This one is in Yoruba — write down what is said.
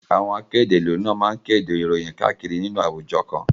Àwọn akéde ìlú ni wọ́n máa kéde ìròyìn káàkiri inú àwùjọ kan.